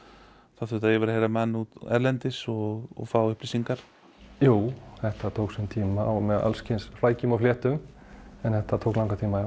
það þurfti að yfirheyra menn erlendis og fá upplýsingar jú þetta tók sinn tíma og með alls kyns flækjum og fléttum en þetta tók langan tíma